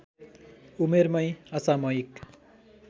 उमेरमै असामयिक